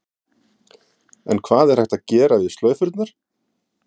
En hvað er hægt að gera við slaufurnar?